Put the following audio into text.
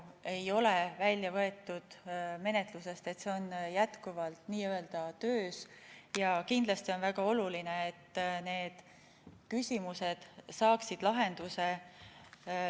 Seda ei ole praegu menetlusest välja võetud, see on jätkuvalt n-ö töös, ja kindlasti on väga oluline, et need küsimused saaksid lahenduse.